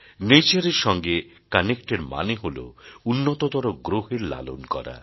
nature এর সঙ্গে connect এর মানে হল উন্নততর গ্রহের লালন করা